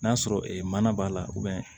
N'a sɔrɔ mana b'a la